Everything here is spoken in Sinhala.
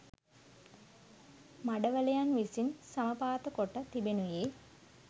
මඩවලයන් විසින් සමපාතකොට තිබෙනුයේ